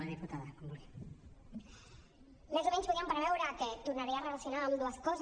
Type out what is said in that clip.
més o menys podíem preveure que tornaria a relacionar ambdues coses